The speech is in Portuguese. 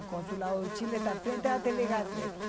O Consulado do Chile tá à frente da tê vê Gazeta.